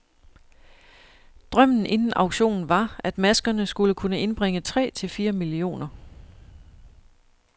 Drømmen inden auktionen var, at maskerne skulle kunne indbringe tre til fire millioner.